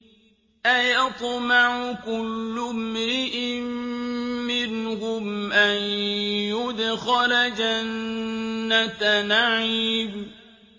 أَيَطْمَعُ كُلُّ امْرِئٍ مِّنْهُمْ أَن يُدْخَلَ جَنَّةَ نَعِيمٍ